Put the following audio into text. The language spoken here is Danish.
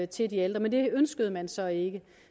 til de ældre men det ønskede man så ikke